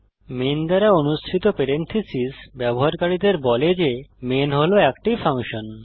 main দ্বারা অনুসৃত parentheses ব্যবহারকারীদের বলে যে মেইন হল একটি ফাংশন